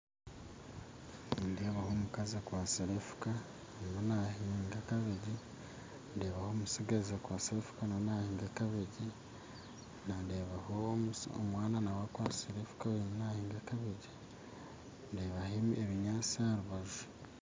Nindebaho omukazi akwatsire enfuka aruho nahiinga kabegye ndebaho omutsigazi akwatsire enfuka nawe nahiinga kabegye ndebaho omwaana nawe akwatsire enfuka ariyo nahiinga kabegye ndebaho ebindi binyaatsi aharubaju.